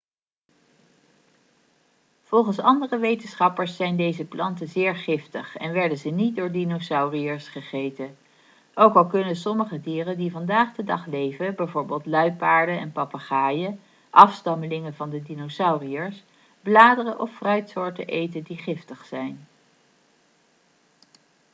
volgens andere wetenschappers zijn deze planten zeer giftig en werden ze niet door dinosauriërs gegeten. ook al kunnen sommige dieren die vandaag de dag leven bijvoorbeeld luiaarden en papegaaien afstammelingen van de dinosauriërs bladeren of fruitsoorten eten die giftig zijn